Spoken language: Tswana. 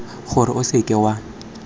gore o seka w a